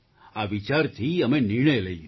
આ વિચારથી અમે નિર્ણય લઈ લીધો